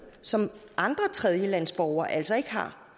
som andre tredjelandsborgere altså ikke har